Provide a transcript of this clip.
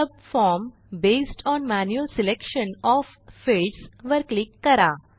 subform based on manual selection OF fields वर click करा